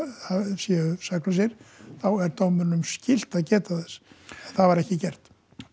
séu saklausir þá er dómaranum skylt að geta þess það var ekki gert